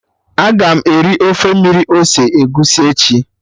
Aga m eri ofe mmiri ose egusi echi